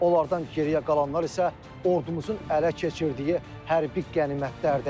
Onlardan geriyə qalanlar isə ordumuzun ələ keçirdiyi hərbi qənimətlərdir.